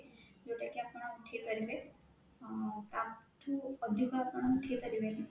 ଯୋଉଟା କି ଆପଣ ଉଠେଇପାରିବେ ଅଁ ତା ଠୁ ଅଧିକା ଆପଣ ଉଠେଇପାରିବେନି